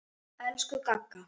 Elsku Gagga.